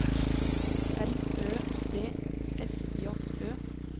R Ø D S J Ø